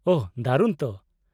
-ᱳᱦᱚ, ᱫᱟᱨᱩᱱ ᱛᱚ !